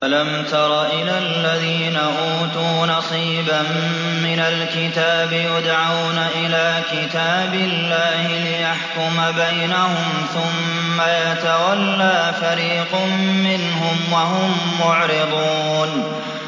أَلَمْ تَرَ إِلَى الَّذِينَ أُوتُوا نَصِيبًا مِّنَ الْكِتَابِ يُدْعَوْنَ إِلَىٰ كِتَابِ اللَّهِ لِيَحْكُمَ بَيْنَهُمْ ثُمَّ يَتَوَلَّىٰ فَرِيقٌ مِّنْهُمْ وَهُم مُّعْرِضُونَ